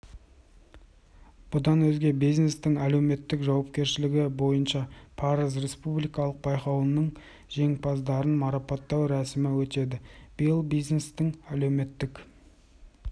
бұдан өзге бизнестің әлеуметтік жауапкершілігі бойынша парыз республикалық байқауының жеңімпаздарын марапаттау рәсімі өтеді биыл бизнестің әлеуметтік